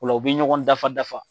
O la u bɛ ɲɔgɔn dafa dafa.